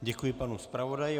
Děkuji panu zpravodaji.